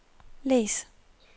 læs